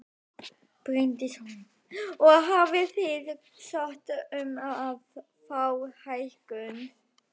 Bryndís Hólm: Og hafið þið sótt um að fá hækkun?